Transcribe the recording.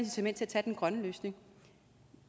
til at tage den grønne løsning